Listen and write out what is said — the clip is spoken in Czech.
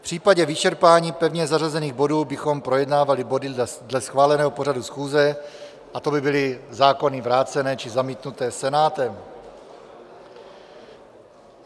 V případě vyčerpání pevně zařazených bodů bychom projednávali body dle schváleného pořadu schůze, a to by byly zákony vrácené či zamítnuté Senátem.